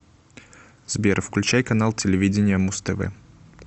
сбер включай канал телевидения муз тв